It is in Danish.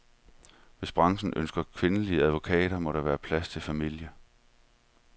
Hvis branchen ønsker kvindelige advokater, må der være plads til familie.